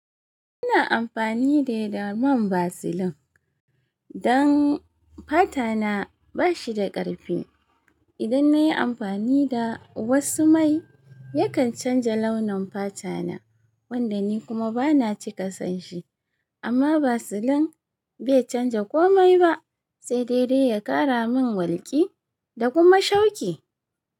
Ina amfani ne da man Vaseline don fata na ba shi da ƙarfi. Idan na yi amfani da wasu mai, yakan canja launin fata na, wanda ni kuma ba na cika son shi. Amma Vaseline bai canja komai ba sai dai dai ya ƙara min walƙi da kuma shauki.